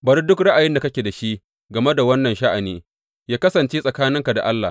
Bari duk ra’ayin da kake da shi game da wannan sha’ani yă kasance tsakaninka da Allah.